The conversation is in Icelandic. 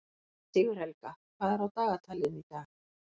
Sigurhelga, hvað er á dagatalinu í dag?